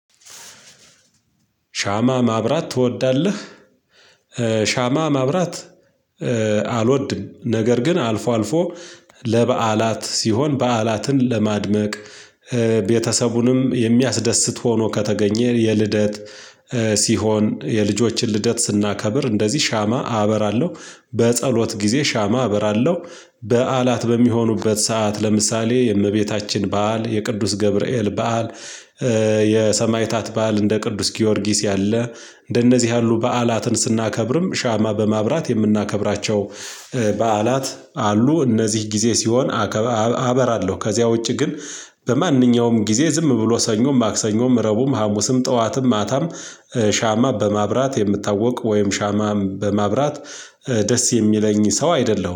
ሻማ ማብራት ትወዳለህ? ሻማ ማብራት አልወድም። ነገር ግን አልፎ አልፎ ለበዓላት ሲሆን በዓላትን ለማድመቅ። ቤተሰቡን የሚያስደስት ሆኖ ከተገኘ የልደት ሲሆን የልጆችን ልደት ስናከብር እንደዚህ ሻማ አበራለሁ። በጸሎት ጊዜ ሻማ አበራለሁ። በዓላት በሚሆኑበት ሰዓት ለምሳሌ የእመቤታችን በዓል የቅዱስ ገብርኤል በዓል። የሰማዕታት በዓል እንደ ቅዱስ ጊዮርጊስ ያለ እንደነዚህ ያሉ በዓላትን ስናከብርም ሻማ በማብራት የምናከብራቸው በዓላት አሉ እነዚህ ጊዜ ሲሆን። አበራለሁ ከዚያ ውጪ ግን። በማንኛውም ጊዜ ዝም ብሎ ሰኞ ማክሰኞም ረቡም ሀሙስም ጠዋትም ማታም ሻማ በማብራት የምታወቅ ወይም ሻማ በማብራት ደስ የሚለኝ ሰው አይደለሁም